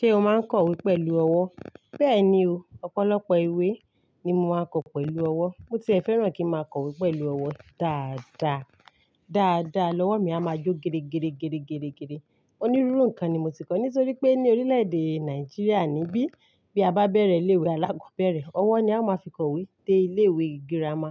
Ṣé o máa ń kọ ìwé pẹ̀lú ọwọ́? Bẹ́ẹ̀ni o, ọ̀pọ̀lọpọ̀ ìwé ni mo máa ń kọ pẹ̀lú ọwọ́. Mo ti fẹ́ràn kí n máa kọ ìwé pẹ̀lú ọwọ́ dáadáa. Dáadáa lọ́wọ́ mi a máa jó geregere geregere. Onírúurú nǹkan ni mo ti kọ nítorí pé ní orílẹ̀ èdè Nàìjíríà níbí bí a bá bẹ̀rẹ̀ ilé ìwé alákọ̀ọ́bẹ̀rẹ̀, ọwọ́ ni a máa fi kọ ìwé dé ilé ìwé girama